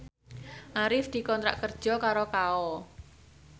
Arif dikontrak kerja karo Kao